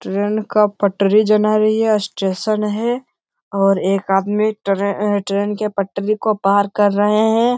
Train का पटरी जना रही है स्टेशन है और एक आदमी ट्रेन ट्रेन के पटरी को पार कर रहे हैं।